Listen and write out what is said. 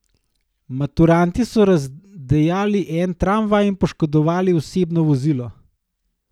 Maturantje so razdejali en tramvaj in poškodovali osebno vozilo.